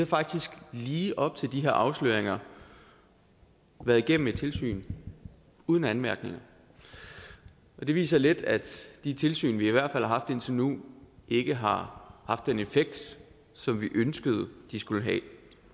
faktisk lige op til de her afsløringer været igennem et tilsyn uden anmærkninger det viser lidt at de tilsyn vi i hvert fald har haft indtil nu ikke har haft den effekt som vi ønskede at de skulle have